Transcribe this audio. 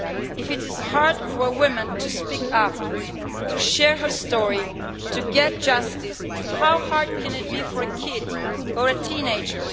If it is hard for woman to speak up, to share her story, to get justice, how hard can it be for a kid or a teenager?